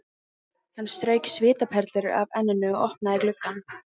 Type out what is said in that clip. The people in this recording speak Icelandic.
Hann strauk svitaperlur af enninu og opnaði gluggann.